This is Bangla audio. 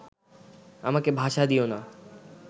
আমাকে ভাষা দিয়ো না